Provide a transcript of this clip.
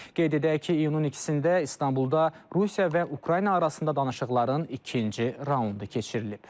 Qeyd edək ki, iyunun ikisində İstanbulda Rusiya və Ukrayna arasında danışıqların ikinci raundu keçirilib.